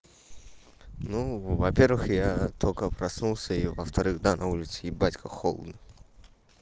ну во первых я только проснулся и во вторых да на улице ебать как холодно